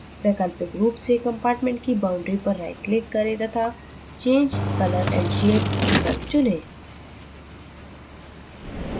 वैकल्पिक रूप से compartment की boundary पर right click करें तथा change color & shape विकल्प चुनें